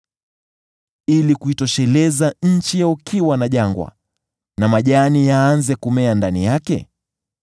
ili kuitosheleza nchi ya ukiwa na jangwa, na majani yaanze kumea ndani yake?